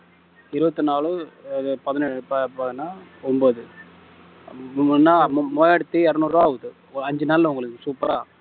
இருபத்து நாலு இது பதினெ~ ப~ ப~ என்ன ஒன்பது மு~ முன்னா~ மூவாயிரத்து இருநூறு ரூபா ஆகுது அஞ்சு நாள்ல உங்களுக்கு super ஆ